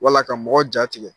Wala ka mɔgɔ jatigɛ